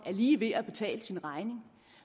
lige ved at betale sin regning